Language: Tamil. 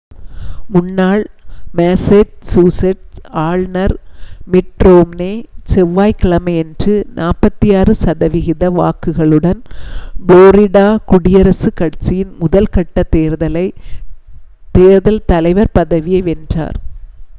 முன்னாள் மேசேச்சூஸெட்ஸ் ஆளுனர் மிட் ரோம்னே செவ்வாய் கிழமையன்று 46 சதவிகித வாக்குகளுடன் ஃப்ளோரிடா குடியரசு கட்சியின் முதல் கட்ட தேர்தல் தலைவர் பதவியை வென்றார்